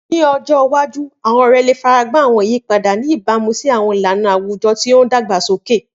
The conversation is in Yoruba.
Ni ọjọ iwaju, àwọn ọrẹ le faragba àwọn iyipada, ni ibamu si àwọn ilana awujọ ti o dagbasoke.